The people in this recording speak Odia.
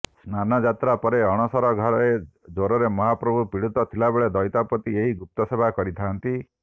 ସ୍ନାନଯାତ୍ରା ପରେ ଅଣସର ଘରେ ଜ୍ୱରରେ ମହାପ୍ରଭୁ ପିଡିତ ଥିବାବେଳେ ଦଇତାପତି ଏହି ଗୁପ୍ତ ସେବା କରିଥାଆନ୍ତି